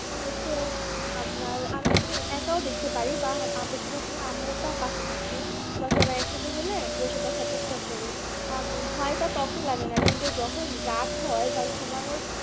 আমার হচ্ছে আপনার আমি আমি একাও দেখতে পারি বা বেশিরভাগ সময় আম্মু পশে থাকে বা সবাই একসাথে হলে বসে দেখার চেষ্টা করি আর ভয়টা তখন লাগেনা কিন্তু যখন রাট হয় বা ঘুমানোর